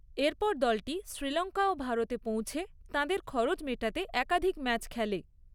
এরপর দলটি শ্রীলঙ্কা ও ভারতে পৌঁছে তাঁদের খরচ মেটাতে একাধিক ম্যাচ খেলে।